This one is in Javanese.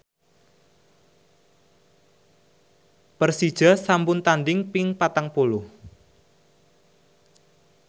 Persija sampun tandhing ping patang puluh